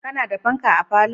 Ka na da fanka a falo?